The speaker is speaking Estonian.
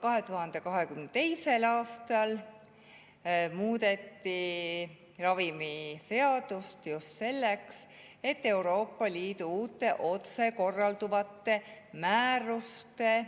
2022. aastal muudeti ravimiseadust just Euroopa Liidu uute, otsekorralduvate määruste